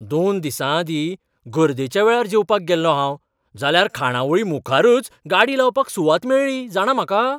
दोन दिसांआदीं गर्देच्या वेळार जेवपाक गेल्लों हांव, जाल्यार खाणावळी मुखारच गाडी लावपाक सुवात मेळळी जाणा म्हाका.